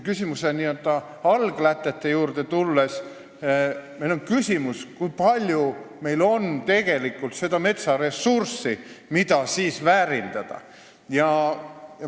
Nii-öelda alglätete juurde tulles: kui palju meil on tegelikult seda metsaressurssi, mida väärindada.